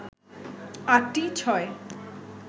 আটটি ছয়